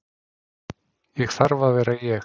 Ég þarf að vera ég.